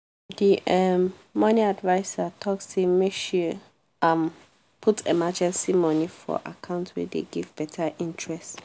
the um money adviser talk say make she um put emergency money for account wey dey give better interest.